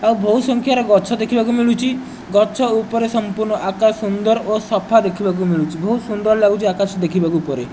ଆଉ ବୋହୁତ୍ ସଂଖ୍ୟାରେ ଗଛ ଦେଖିବାକୁ ମିଳୁଚି ଗଛ ଉପରେ ସଂପୂର୍ଣ୍ଣ ଆକାଶ୍ ସୁନ୍ଦର ଓ ସଫା ଦେଖିବାକୁ ମିଳୁଚି ବୋହୁତ୍ ସୁନ୍ଦର୍ ଲାଗୁଚି ଆକାଶ ଦେଖିବାକୁ ଉପରେ।